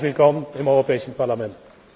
Herzlich willkommen im Europäischen Parlament!